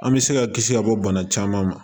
An bɛ se ka kisi ka bɔ bana caman ma